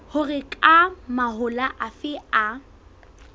hore ke mahola afe a